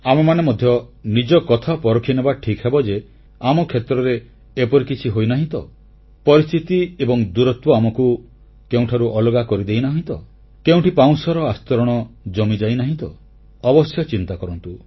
ଆମେମାନେ ମଧ୍ୟ ନିଜକଥା ପରଖିନେବା ଠିକ୍ ହେବ ଯେ ଆମ କ୍ଷେତ୍ରରେ ଏପରି କିଛି ହୋଇନାହିଁ ତ ପରିସ୍ଥିତି ଏବଂ ଦୂରତ୍ୱ ଆମକୁ କେଉଁଠାରୁ ଅଲଗା କରିଦେଇନାହିଁ ତ କେଉଁଠି ପାଉଁଶର ଆସ୍ତରଣ ଜମିଯାଇନାହିଁ ତ ଅବଶ୍ୟ ଆପଣମାନେ ଚିନ୍ତା କରନ୍ତୁ